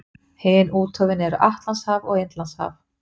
Hin úthöfin eru Atlantshaf og Indlandshaf.